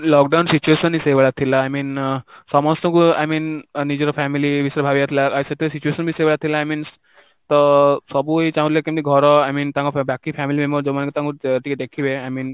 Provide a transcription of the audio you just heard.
lockdown situation ହିଁ ସେଇ ଭଳିଆ ଥିଲା, I mean ସମସ୍ତଙ୍କୁ I mean ନିଜର family ବିଷୟରେ ଭାବିବାର ଥିଲା, ସେତେ ବେଳେ situation ବି ସେଇ ଭଳିଆ ଥିଲା I mean ତ ସବୁ ଏଇ ଚାଁହୁଥିଲେ କେମିତି ଘର I mean ତାଙ୍କ ବାକି family member ଯୋଉ ମାନେ କି ତାଙ୍କୁ ଟିକେ ଦେଖିବେ I mean